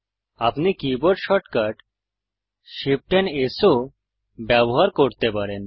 আপনি keyboard shortcut Shift amp S ও ব্যবহার করতে পারেন